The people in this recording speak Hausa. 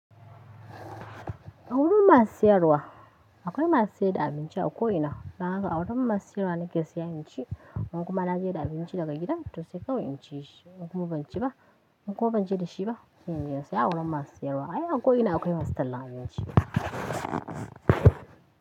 A wurin masu siyarwa akwai masu sayar da abinci a ko ina. Dan haka a wurin masu siyarwa na ke sayan abinci. In kuma na je da abinci daga gida to sai kawai in ci shi. In kuma ban ci ba in ko ban je da shi ba sai in je in saya a wurin masu sayarwa. A ko ina akwai masallan abinci.